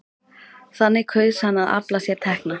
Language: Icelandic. Þannig kaus hann að afla sér tekna.